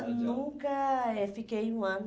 nunca eh fiquei um ano.